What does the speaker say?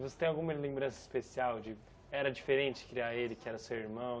Você tem alguma lembrança especial de... Era diferente criar ele, que era seu irmão?